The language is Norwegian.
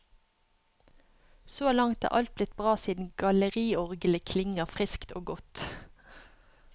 Så langt er alt blitt bra siden galleriorglet klinger friskt og godt.